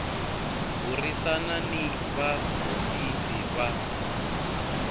burisana ni va hofisi va